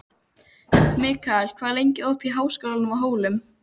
Mikkel, hvað er lengi opið í Háskólanum á Hólum?